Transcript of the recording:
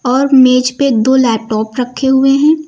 और मेज पे दो लैपटॉप रखे हुए हैं।